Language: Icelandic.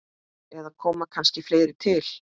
Eða kom kannski fleira til?